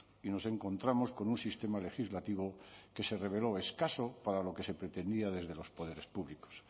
y nos encontramos con un sistema legislativo que se reveló escaso para lo que se pretendía desde los poderes públicos